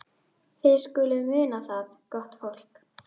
Þið skuluð muna það, gott fólk,